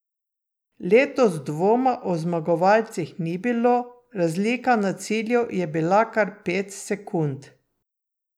Letos dvoma o zmagovalcih ni bilo, razlika na cilju je bila kar pet sekund.